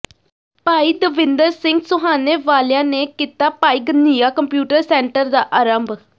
ਭਾਈ ਦਵਿੰਦਰ ਸਿੰਘ ਸੁਹਾਣੇ ਵਾਲਿਆਂ ਨੇ ਕੀਤਾ ਭਾਈ ਘਨ੍ਹੱਈਆ ਕੰਪਿਊਟਰ ਸੈਂਟਰ ਦਾ ਆਰੰਭ